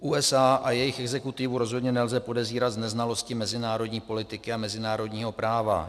USA a jejich exekutivu rozhodně nelze podezírat z neznalosti mezinárodní politiky a mezinárodního práva.